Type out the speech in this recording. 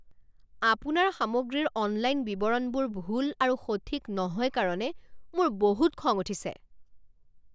আপোনাৰ সামগ্ৰীৰ অনলাইন বিৱৰণবোৰ ভুল আৰু সঠিক নহয় কাৰণে মোৰ বহুত খং উঠিছে।